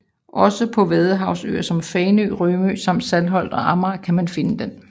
Også på vadehavsøer som Fanø og Rømø samt på Saltholm og Amager kan man finde den